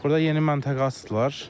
Burda yeni məntəqə açdılar.